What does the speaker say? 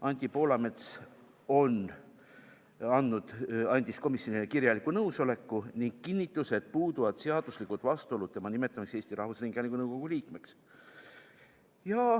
Anti Poolamets andis komisjonile kirjaliku nõusoleku ning kinnitas, et puuduvad seaduslikud vastuolud tema nimetamiseks Eesti Rahvusringhäälingu nõukogu liikmeks.